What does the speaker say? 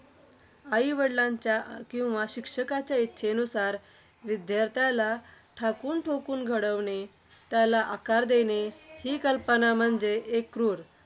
आईवडिलांच्या किंवा शिक्षकाच्या इच्छेनुसार, विद्यार्थ्याला ठाकूनठोकून घडविणे, त्याला आकार देणे. ही कल्पना म्हणजे एक क्रूर